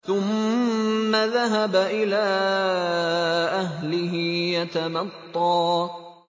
ثُمَّ ذَهَبَ إِلَىٰ أَهْلِهِ يَتَمَطَّىٰ